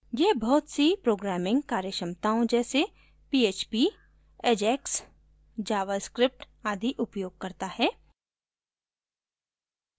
यह बहुत सी programming कार्यक्षमताओं जैसे php ajax javascript आदि उपयोग करता है